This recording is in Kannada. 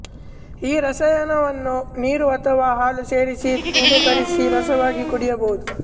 ಈ ರಸಾಯನವನ್ನು ನೀರು ಅಥವಾ ಹಾಲು ಸೇರಿಸಿ ತನೂಕರಿಸಿ ರಸವಾಗಿ ಕುಡಿಯಬಹುದು